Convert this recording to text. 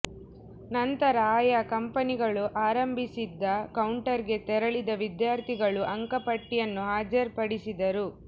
ನಂತರ ಆಯಾ ಕಂಪನಿಗಳು ಆರಂಭಿಸಿದ್ದ ಕೌಂಟರ್ಗೆ ತೆರಳಿದ ವಿದ್ಯಾರ್ಥಿಗಳು ಅಂಕಪಟ್ಟಿಯನ್ನು ಹಾಜರ್ ಪಡಿಸಿದರು